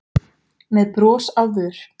með brosi á vör.